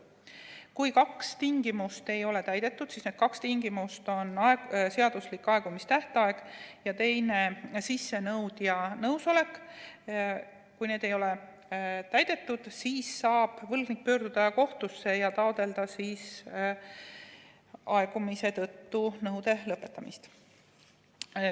Kui need kaks tingimust, seaduslik aegumistähtaeg ja sissenõudja nõusolek, ei ole täidetud, siis saab võlgnik pöörduda kohtusse ja taotleda aegumise tõttu nõude lõpetamist.